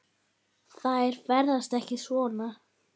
Þær ferðast ekki svona.